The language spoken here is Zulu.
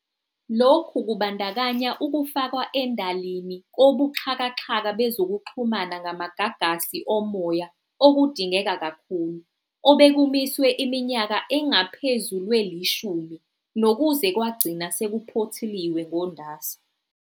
Lokhu kubandakanya ukufakwa endalini kobuxhakaxhaka bezokuxhumana ngamagagasi omoya okudingeka kakhulu, obekumiswe iminyaka engaphezu lwelishumi nokuze kwagcina sekuphothuliwe ngoNdasa.